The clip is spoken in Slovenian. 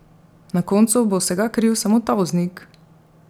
Na koncu bo vsega kriv samo ta voznik!